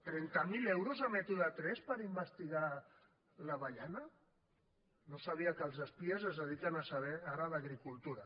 trenta mil euros a método tres per investigar l’avellana no sabia que els espies es dediquen a saber ara d’agricultura